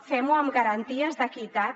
fem ho amb garanties d’equitat